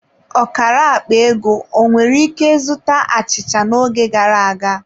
Ọkara akpa ego ọ nwere ike zụta achịcha n'oge gara aga?